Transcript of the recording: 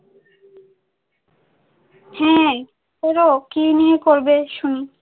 হ্যাঁ করো, কি নিয়ে করবে শুনি?